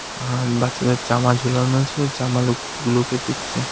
আর বাচ্চাদের জামা ঝুলানো আছে জামা লোকগুলোকে দেখছে.